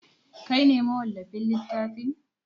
Kai ne mawallafin littafin?